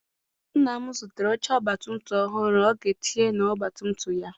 Nna m zụtara oche ọgbatumtum ọhụụ ọ ga etinye na ọgbatumtum ya.